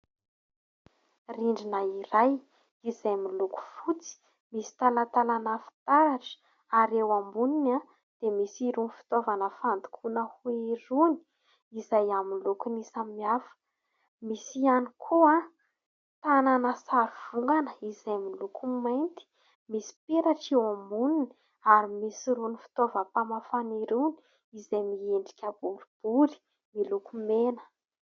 Rindrina iray izay miloko fotsy, misy talatalana fitaratra; ary eo amboniny dia misy irony fitoavana fandokoana hoho irony izay amin'ny lokony samiafa. Misy ihany koa tànana sarivongana izay miloko mainty, misy peratra eo amboniny, ary misy irony fitaovam-pamafana irony izay miendrika boribory miloko mena.